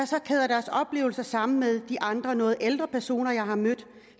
så kæder deres oplevelser sammen med de andre noget ældre personer jeg har mødt